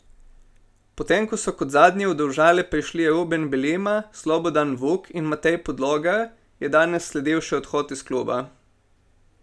Potem ko so kot zadnji v Domžale prišli Ruben Belima, Slobodan Vuk in Matej Podlogar, je danes sledil še odhod iz kluba.